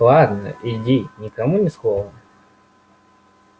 ладно иди никому ни слова